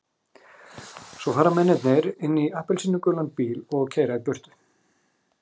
Svo fara mennirnir inn í appelsínugulan bíl og keyra burtu.